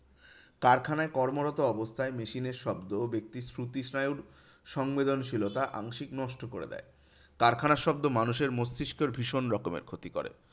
কারখানায় কর্মরত অবস্থায় machine এর শব্দ ব্যাক্তির শ্রুতি স্নায়ুর সংবেদনশীলতা আংশিক নষ্ট করে দেয়। কারখানার শব্দ মানুষের মস্তিষ্কের ভীষণ রকমের ক্ষতি করে।